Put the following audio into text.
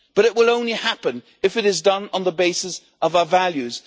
But it will only happen if it is done on the basis of our values.